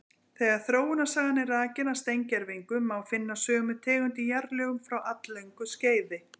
Þegar þróunarsagan er rakin af steingervingum, má finna sömu tegund í jarðlögum frá alllöngu skeiði.